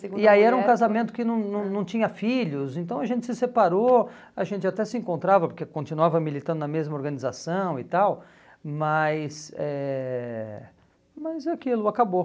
segunda mulher... E aí era um casamento que não não não tinha filhos, então a gente se separou, a gente até se encontrava, porque continuava militando na mesma organização e tal, mas eh mas aquilo acabou.